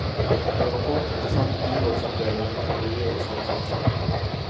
En rapport ble sendt byrådsavdelingen for miljø og samferdsel.